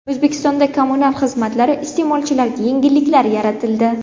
O‘zbekistonda kommunal xizmatlari iste’molchilariga yengilliklar yaratildi.